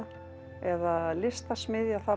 eða listasmiðja það